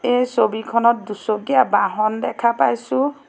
এই ছবিখনত দুচকীয়া বাহন দেখা পাইছোঁ।